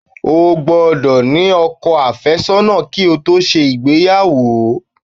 O gbódò ní ọkọ àfẹ́sọ́nà ki o to se ìgbéyàwó